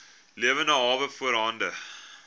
lewende hawe voorhande